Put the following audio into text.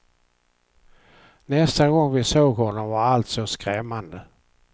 Nästa gång vi såg honom var allt så skrämmande.